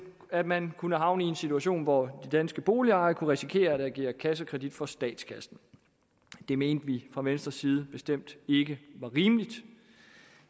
at man kunne havne i en situation hvor de danske boligejere kunne risikere at agere kassekredit for statskassen det mente vi fra venstres side bestemt ikke var rimeligt